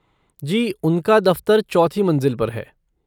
जी, उनका दफ़्तर चौथी मंज़िल पर है।